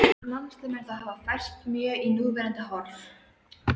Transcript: Landslag mun þá hafa færst mjög í núverandi horf.